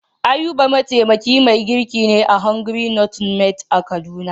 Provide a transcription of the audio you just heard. Ayuba mataimakin mai girkin ne a "hungry not mad " a kaduna.